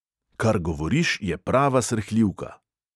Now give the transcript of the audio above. "Kar govoriš, je prava srhljivka!"